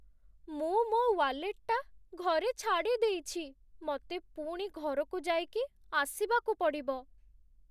ମୁଁ ମୋ' ୱାଲେଟ୍‌ଟା ଘରେ ଛାଡ଼ି ଦେଇଛି । ମତେ ପୁଣି ଘରକୁ ଯାଇକି ଆସିବାକୁ ପଡ଼ିବ ।